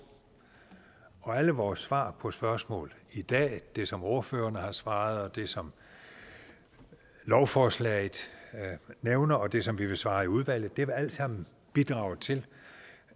alle vores svar på spørgsmål i dag det som ordførererne har svaret det som lovforslaget nævner og det som vi vil svare i udvalget vil alt sammen bidrage til